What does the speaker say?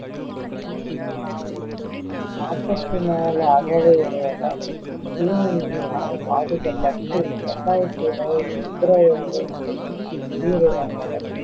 நாப்பத்தி நாலு அகவையுடையவர் இத்தீநுண்மியால் பாதிக்கப்பட்டு இரண்டாயிரத்தி இருவது பிப்ரவரி ஒண்ணில் உயிரிழந்தனர்